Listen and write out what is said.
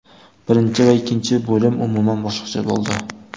Birinchi va ikkinchi bo‘lim umuman boshqacha bo‘ldi.